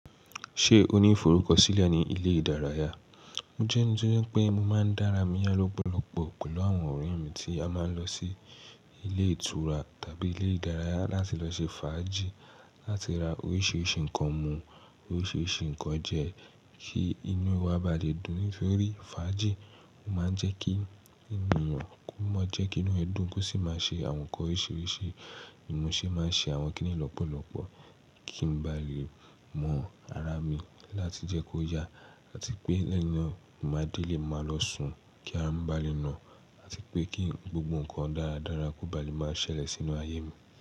Ṣé o ní ìforúkọ̀sílẹ̀ ní ilé ìdárayá? Mo jẹ́ ẹni tó jẹ pé mo máa ń dára mí yá lọ́pọ̀lọpọ̀ pẹ̀lú àwọn ọ̀rẹ́ mi tí a máa ń lọ sí ilé ìtura tàbí ilé ìdárayá láti lọ ṣe fàájì, láti ra oríṣiríṣi nǹkan mú, oríṣiríṣi nǹkan jẹ kí inú wa bá lè dùn nítorí fàájì máa ń jẹ́ kí inú ẹ̀nìyàn kú mọ́, jẹ́ kí inú ẹ dun, ó sì máa ṣe àwọn nǹkan oríṣiríṣi. Ní mọ̀ ṣe máa ń ṣe àwọn kínní yí lọ́pọ̀lọpọ̀ kí n ba lè mọ ara mi láti jẹ́ kó yá àti pé lẹ́yìn náà mo máa dé lè máa lọ sùn kí a má ba lè nà àti pé kí gbogbo nǹkan dáradára kó ba lè máa ṣẹlẹ̀ sínú ayé mi.